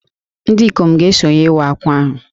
Ndị ikom ga-esonyere Iwa Akwa ahụ